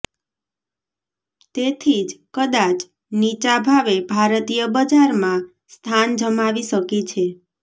તેથી જ કદાચ નીચા ભાવે ભારતીય બજારમાં સ્થાન જમાવી શકી છે